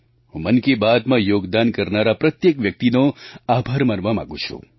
હું મન કી બાતમાં યોગદાન કરનારા પ્રત્યેક વ્યક્તિનો આભાર માનવા માગું છું